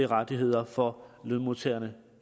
rettigheder for lønmodtagerne